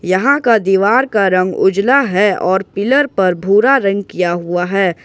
यहां का दीवार का रंग उजाला है और पिलर पर भूरा रंग किया हुआ है।